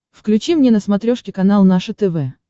включи мне на смотрешке канал наше тв